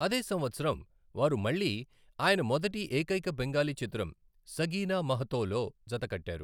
అదే సంవత్సరం, వారు మళ్ళీ ఆయన మొదటి, ఏకైక బెంగాలీ చిత్రం 'సగీనా మహతో' లో జతకట్టారు.